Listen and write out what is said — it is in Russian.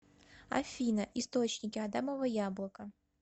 афина источники адамово яблоко